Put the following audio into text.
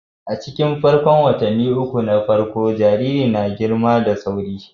A cikin farkon watanni uku na farko, amfrayo na girma da sauri